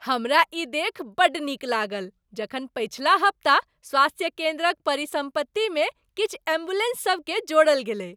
हमरा ई देखि बड्ड नीक लागल जखन पछिला हप्ता स्वास्थ्य केंद्रक परिसम्पत्ति मे किछु एम्बुलेंस सब केँ जोड़ल गेलै ।